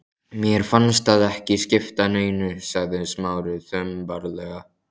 Mér fannst það ekki skipta neinu sagði Smári þumbaralega.